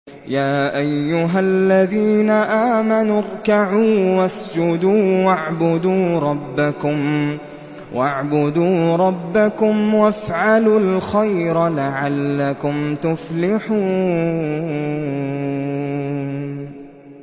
يَا أَيُّهَا الَّذِينَ آمَنُوا ارْكَعُوا وَاسْجُدُوا وَاعْبُدُوا رَبَّكُمْ وَافْعَلُوا الْخَيْرَ لَعَلَّكُمْ تُفْلِحُونَ ۩